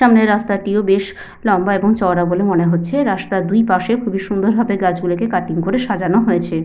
সামনের রাস্তা টিও বেশ লম্বা এবং চওড়া বলে মনে হচ্ছে রাস্তার দুইপাশে খুবই সুন্দর ভাবে গাছ গুলোকে কাটিং করে সাজানো হয়েছে।